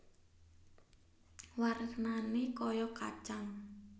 Warnané kaya kacang